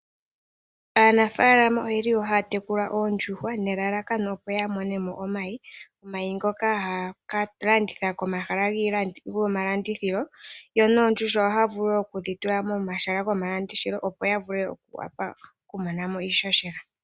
Aanafaalama oye li haya tekula oondjuhwa nelalakano lyokumona mo omayi, ngoka haye ke ga landitha po komahala gomalandithilo. Oondjuhwa nadho wo ohaya vulu oku dhi fala komahala gomalandithilo opo ya vule okumona mo iishoshela.